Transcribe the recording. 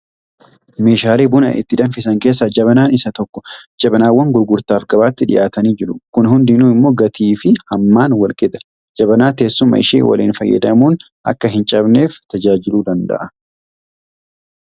Meeshaalee buna itti danfisan keessaa jabanaan isa tokko. Jabanaawwan gurgurtaaf gabaatti dhiyaatanii jiru. Kun hundinuu immoo gatii fi hammaan walqixa. Jabanaa teessuma ishee waliin. Fayyadamuun akka hin cabneef tajaajiluu danda'a.